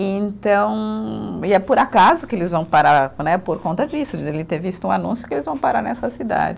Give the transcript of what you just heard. Então, e é por acaso que eles vão parar né, por conta disso, de ele ter visto um anúncio que eles vão parar nessa cidade.